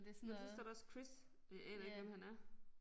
Men så står der også Chris og jeg aner ikke hvem han er